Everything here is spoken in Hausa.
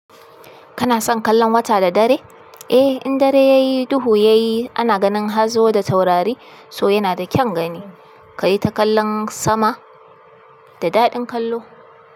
Kana son kallon wata da dare? Eh, in dare ya yi, duhu yayi, ana ganin hazo da taurari, so yana da kyan gani. Ka yi ta kallon sama, da daɗin kallo.